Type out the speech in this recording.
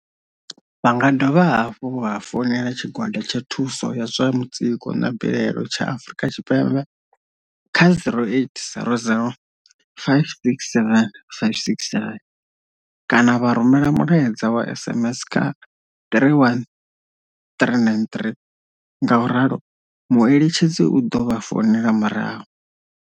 Vha nga dovha hafhu vha founela tshigwada tsha thuso ya zwa mutsiko na mbilaelo tsha Afrika Tshipembe, kha 0800 567 567 kana vha rumela mulaedza wa SMS kha 31393 ngauralo mueletshedzi u ḓo vha founela murahu.